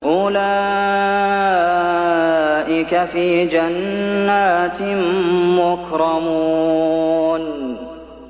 أُولَٰئِكَ فِي جَنَّاتٍ مُّكْرَمُونَ